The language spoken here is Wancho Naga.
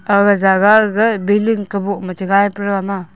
aga jaga aga gagai builing kaboh ma che gai pe rama.